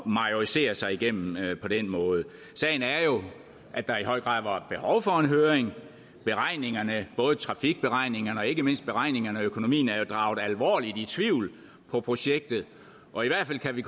majorisere sig igennem på den måde sagen er jo at der i høj grad var behov for en høring beregningerne både trafikberegningerne og ikke mindst beregningerne af økonomien er jo draget alvorligt i tvivl på projektet og i hvert fald kan vi